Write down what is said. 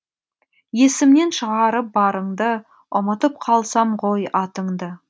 есімнен шығарып барыңды ұмытып қалсам ғой атыңды